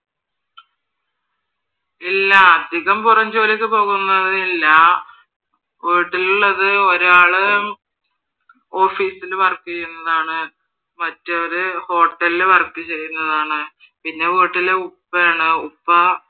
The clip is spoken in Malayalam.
ഇല്ല അധികം പുറം ജോലിക്ക് പോകുന്നവരില്ല. വീട്ടിൽ ഇള്ളത് ഒരാള് office ൽ work ചെയ്യുന്നതാണ് മറ്റൊരാള് ഹോട്ടലിൽ work ചെയ്യുന്നതാണ്. പിന്നെ വീട്ടിൽ ഉപ്പയാണ് ഉപ്പ